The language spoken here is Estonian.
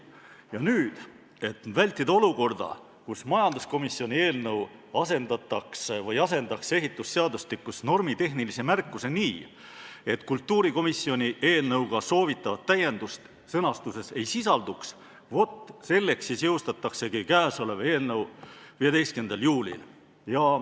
Ja nüüd selleks, et vältida olukorda, kus majanduskomisjoni eelnõu asendaks ehitusseadustikus normitehnilise märkuse nii, et kultuurikomisjoni eelnõuga soovitavat täiendust sõnastuses ei sisalduks, jõustataksegi kõnealune eelnõu 15. juulil.